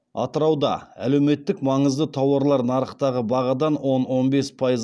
атырауда әлеуметтік маңызды тауарлар нарықтағы бағадан он он бес пайыз